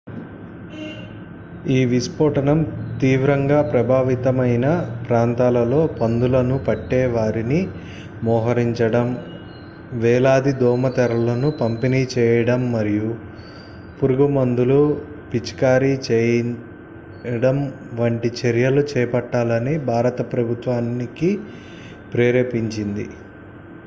ఈ విస్ఫోటనం తీవ్రంగా ప్రభావిత మైన ప్రాంతాల్లో పందుల ను పట్టే వారిని మోహరించడం వేలాది దోమల తెరలను పంపిణీ చేయడం మరియు పురుగుమందులు పిచికారీ చేయడం వంటి చర్యలు చేపట్టాలని భారత ప్రభుత్వానికి ప్రేరేపించింది